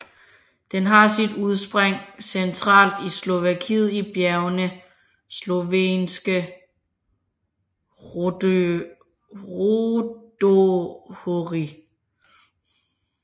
Den har sit udspring centralt i Slovakiet i bjergene Slovenské rudohorie